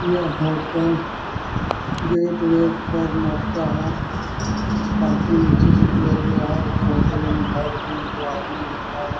यह hotel gateway Karnataka हैं काफी नीचे से लिया गया हैं ऊपर दो आदमी लोग जा रहे हैं।